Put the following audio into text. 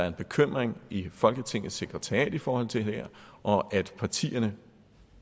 en bekymring i folketingets sekretariat i forhold til det her og partierne